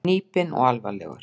Hnípinn og alvarlegur.